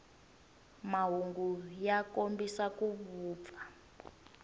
mahungu ya kombisa ku vupfa